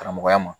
Karamɔgɔya ma